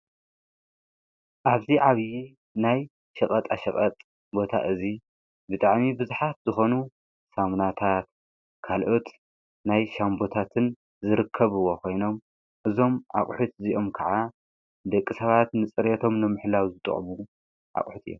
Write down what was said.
ኣብዚ ዓብዪ ናይ ሽቐጥ ኣሽብጥ ቦታ እዙይ ብጥዕሚ ብዙኃት ዝኾኑ ሳምናታት ካልኦት ናይ ሻንቦታትን ዝርከብዎ ኾይኖም እዞም ኣቝሒት እዚኦም ከዓ ደቂ ሰባት ንጽርቶም ሎምሕላዊ ዝጥቕቡ ኣቕሑት እዮም።